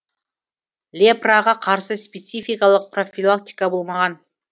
лепраға қарсы спецификалық профилактика болмаған